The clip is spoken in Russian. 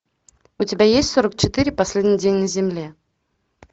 у тебя есть сорок четыре последний день на земле